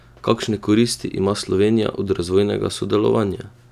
Kakšne koristi ima Slovenija od razvojnega sodelovanja?